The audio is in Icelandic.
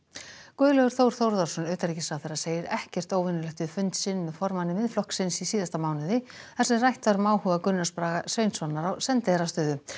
Guðlaugur Þór Þórðarson utanríkisráðherra segir ekkert óvenjulegt við fund sinn með formanni Miðflokks í síðasta mánuði þar sem rætt var um áhuga Gunnars Braga Sveinssonar á sendiherrastöðu